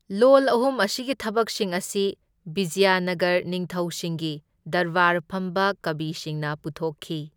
ꯂꯣꯜ ꯑꯍꯨꯝ ꯑꯁꯤꯒꯤ ꯊꯕꯛꯁꯤꯡ ꯑꯁꯤ ꯕꯤꯖꯌꯅꯒꯔ ꯅꯤꯡꯊꯧꯁꯤꯡꯒꯤ ꯗꯔꯕꯥꯔ ꯐꯝꯕ ꯀꯕꯤꯁꯤꯡꯅ ꯄꯨꯊꯣꯛꯈꯤ꯫